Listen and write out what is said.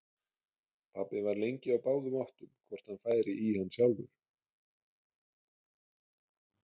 Pabbi var lengi á báðum áttum hvort hann færi í hann sjálfur.